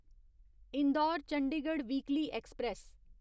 Indore Chandigarh weekly express